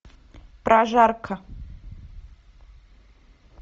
прожарка